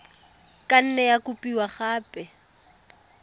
ka nne ya kopiwa gape